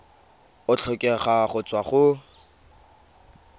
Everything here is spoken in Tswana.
a tlhokega go tswa go